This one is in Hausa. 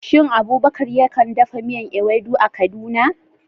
Shin Abubakar ya kan dafa miyar Ewedu a Kaduna?